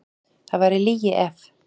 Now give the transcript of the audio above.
Það væri lygi ef.